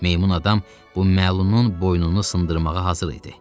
Meymun adam bu məlunun boynunu sındırmağa hazır idi.